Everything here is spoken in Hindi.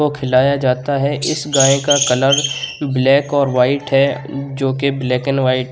को खिलाया जाता है। इस गाय का कलर ब्लैक और व्हाइट है जो के ब्लैक एन व्हाइट --